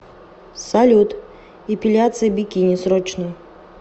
салют эпиляция бикини срочно